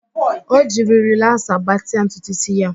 O jiri rịlaasa gbatịa ntutu ísí ya